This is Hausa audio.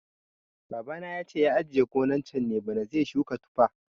Baba na yace ya ajiye gonan can ne bana zai suka tufa